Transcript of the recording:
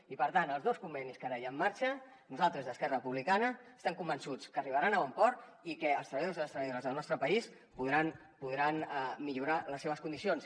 i per tant els dos convenis que ara hi ha en marxa nosaltres des d’esquerra republicana estem convençuts que arribaran a bon port i que els treballadors i les treballadores del nostre país podran millorar les seves condicions